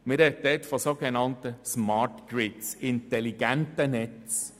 Man spricht von sogenannten Smart Grids, intelligenten Netzen.